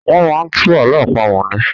Wọ́n máa ń tú àlọ àpamọ̀ ni.